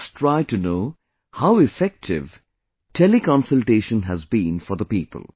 Let us try to know how effective Teleconsultation has been for the people